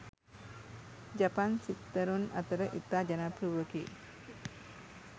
ජපන් සිත්තරුන් අතර ඉතා ජනප්‍රිය වූවකි